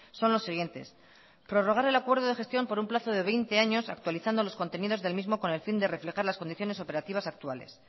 son los siguientes prorrogar el acuerdo de gestión por un plazo de veinte años actualizando los contenidos del mismo con el fin de reflejar las condiciones operativas actuales